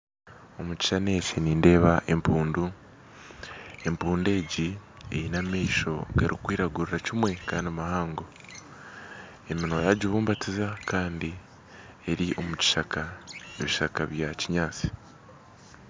Omukishushani eki nindeeba empundu empundu egi eyine amaisho garikwiragurira kimwe kandi mahango eminwa yagibumbatiza Kandi omukishaka ebishaka bya kinyatsi